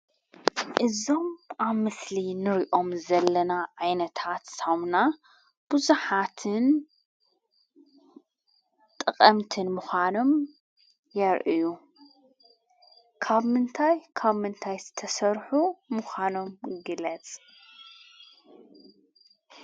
እዞም ኣብ ምስሊ እንሪኦም ዘለና ዓይነታት ሳሙና ብዙሓትን ጠቐምትን ምኾኖም የርእዩ፡፡ ካብ ምንታይ ካብ ምንታይ ዝተሰርሑ ምኾኖም ግለፅ?